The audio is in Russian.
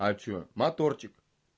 аче моторчик